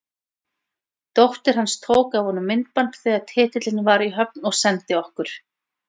Dóttir hans tók af honum myndband þegar titillinn var í höfn og sendi okkur.